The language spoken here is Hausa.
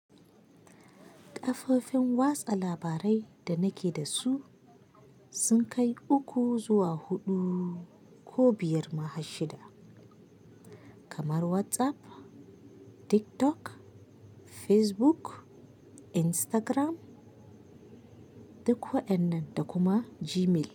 Ƙafofin watsa labarai da nake da su sun kai uku zuwa huɗu ko biyar ma shida kamar WhatsApp, TikTok, Facebook, Instagram duk waɗannan da kuma Gmail.